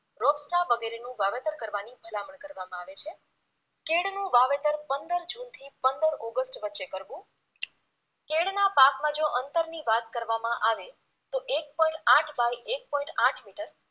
રોપ્ચા વગેરેનું વાવેતર કરવાની ભલામણ કરવામાં આવે છે કેળનું વાવેતર પંદર જૂન થી પંદર ઓગસ્ટ વચ્ચે કરવુ કેળના પાકમાં જો અંતરની વાત કરવામાં આવે તો એક point આઠ by એક point આઠ મિટર